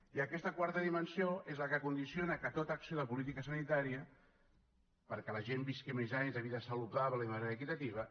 i aquesta quarta dimensió és la que condiciona que tota acció de política sanitària perquè la gent visqui més anys de vida saludable i de manera equitativa